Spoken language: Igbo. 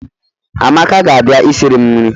Amaka ga-abia isiri m nri